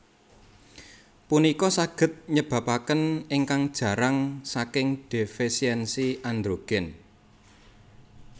Punika saged nyebapaken ingkang jarang saking defesiensi androgen